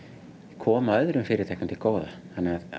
koma öðrum fyrirtækjum til góða þannig að